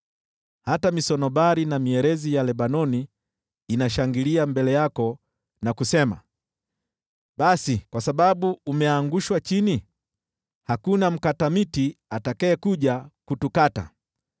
Hata misunobari na mierezi ya Lebanoni inashangilia mbele yako na kusema, “Basi kwa sababu umeangushwa chini, hakuna mkata miti atakayekuja kutukata.”